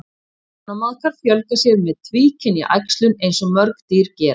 Ánamaðkar fjölga sér með tvíkynja æxlun eins og mörg dýr gera.